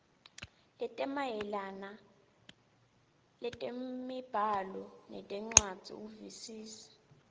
lwetemibhalo nencwadzi ukuvisisa